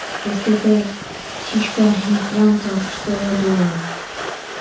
если эта птичка и впрямь то что я думаю